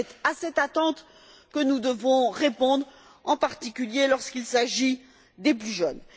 C'est à cette attente que nous devons répondre, en particulier lorsqu'il s'agit des plus jeunes.